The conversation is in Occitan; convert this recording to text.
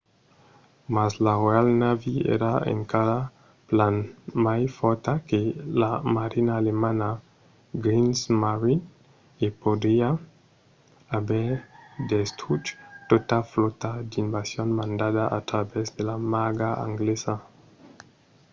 mas la royal navy èra encara plan mai fòrta que la marina alemanda kriegsmarine e podriá aver destruch tota flòta d'invasion mandada a travèrs de la marga anglesa